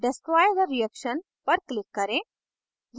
destroy the reaction पर click करें